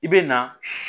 I bɛ na si